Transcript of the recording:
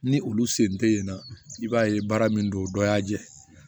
Ni olu sen tɛ yen nɔ i b'a ye baara min don dɔ y'a jɛ